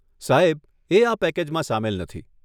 સાહેબ, એ આ પેકેજમાં સામેલ નથી.